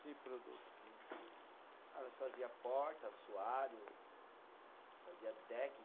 Que produtos que. Ah, nós fazia porta, assoalho, fazia deck